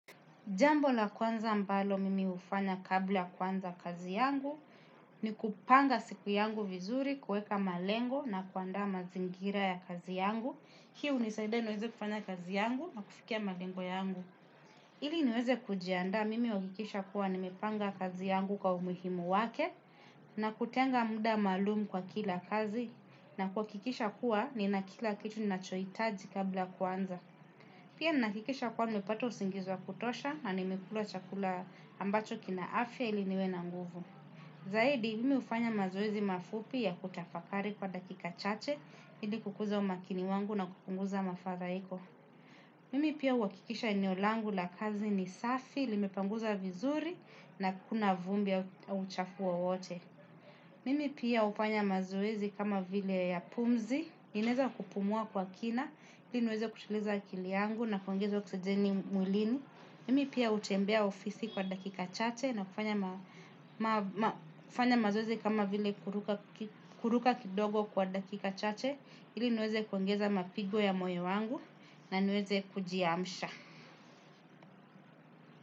Jambo la kwanza ambalo mimi hufanya kabla ya kuanza kazi yangu, ni kupanga siku yangu vizuri, kuweka malengo na kuandaa mazingira ya kazi yangu. Hii hunisaida niweze kufanya kazi yangu, ama kufikia malengo yangu. Ili niweze kujiandaa, mimi huhakikisha kuwa nimepanga kazi yangu kwa umuhimu wake, na kutenga muda maalumu kwa kila kazi, na kuhakikisha kuwa nina kila kitu ninachohitaji kabla ya kuanza. Pia nahakikisha kuwa nimepata usingizi wa kutosha na nimekula chakula ambacho kina afya ili niwe na nguvu. Zaidi, mimi hufanya mazoezi mafupi ya kutafakari kwa dakika chache, ili kukuza umakini wangu na kupunguza mafadhaiko. Mimi pia huhakikisha eneo langu la kazi ni safi, limepanguza vizuri na hakuna vumbi au uchafu wowote. Mimi pia hufanya mazoezi kama vile ya pumzi, ninaeza kupumua kwa kina, ili niweze kutuliza akili yangu na kuongeza oksijeni mwilini. Mimi pia hutembea ofisi kwa dakika chache na kufanya mazoezi kama vile kuruka kidogo kwa dakika chache, ili niweze kuongeza mapigo ya moyo wangu na niweze kujiamsha.